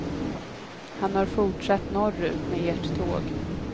Han har fortsatt norrut med ert tåg.